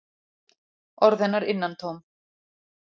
Orð hennar innantóm.